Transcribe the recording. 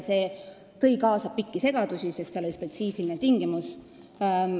See tõi kaasa pikki segadusi, sest seal oli spetsiifiline tingimus.